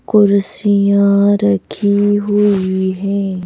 कुर्षियां रखी हुई हैं।